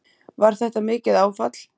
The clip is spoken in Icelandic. Var þetta mikið áfall?